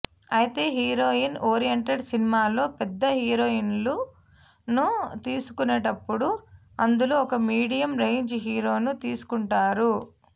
అయితే heroine oriented సినిమాల్లో పెద్ద హీరోయిన్లను తీసుకున్నప్పుడు అందులో ఓ మీడియం రేంజ్ హీరోను తీసుకుంటారు